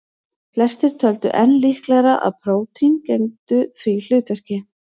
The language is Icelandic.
Flestir töldu enn líklegra að prótín gegndu því hlutverki.